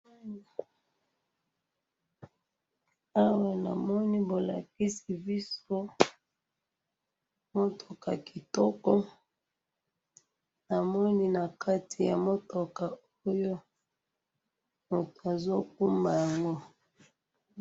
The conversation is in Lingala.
awa namoni bolakisi biso mutuka kitoko namoni na kati ya mutuka oyo mtu azo kumba yango